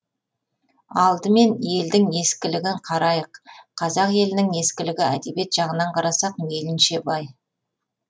алдымен елдің ескілігін қарайық қазақ елінің ескілігі әдебиет жағынан қарасақ мейлінше бай